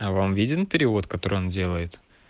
а вам виден перевод который он делает